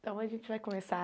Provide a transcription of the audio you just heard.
Então, a gente vai começar.